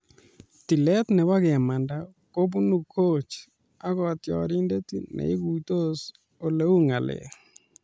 "Tileet nebo kemanda kobunu coach ak kotiorindet neiguitos oleu ng'alek .